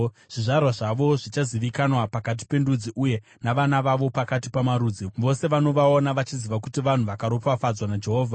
Zvizvarwa zvavo zvichazivikanwa pakati pendudzi uye navana vavo pakati pamarudzi. Vose vanovaona vachaziva kuti vanhu vakaropafadzwa naJehovha.”